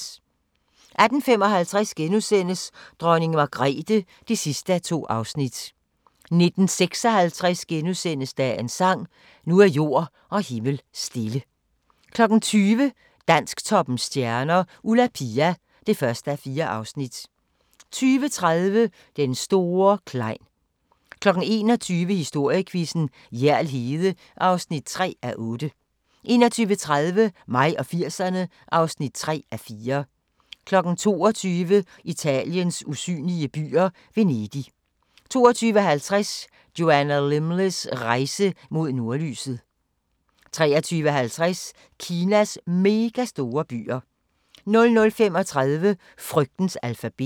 18:55: Dronning Margrethe (2:2)* 19:56: Dagens sang: Nu er jord og himmel stille * 20:00: Dansktoppens stjerner: Ulla Pia (1:4) 20:30: Den store Klein 21:00: Historiequizzen: Hjerl Hede (3:8) 21:30: Mig og 80'erne (3:4) 22:00: Italiens usynlige byer - Venedig 22:50: Joanna Lumleys rejse mod nordlyset 23:50: Kinas megastore byer 00:35: Frygtens alfabet